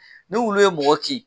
Ni wulu ye mɔgɔ kin.